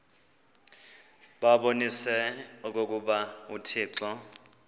babonise okokuba uthixo